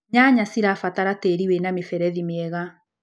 Nyanya cirabatara tĩri wĩna mĩberethi mĩega.